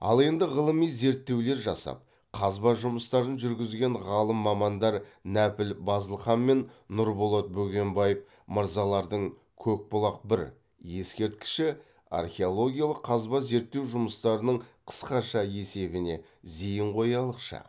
ал енді ғылыми зерттеулер жасап қазба жұмыстарын жүргізген ғалым мамандар нәпіл базылхан мен нұрболат бөгенбаев мырзалардың көкбұлақ бір ескерткіші археологиялық қазбазерттеу жұмыстарының қысқаша есебіне зейін қоялықшы